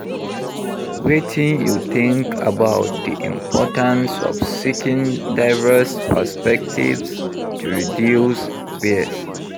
Wetin you think about di importance of seeking diverse perspectives to reduce bias?